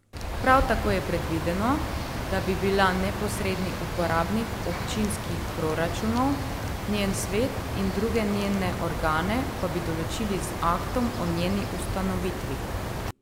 Prav tako je predvideno, da bi bila neposredni uporabnik občinskih proračunov, njen svet in druge njene organe pa bi določili z aktom o njeni ustanovitvi.